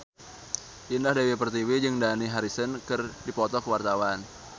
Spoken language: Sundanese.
Indah Dewi Pertiwi jeung Dani Harrison keur dipoto ku wartawan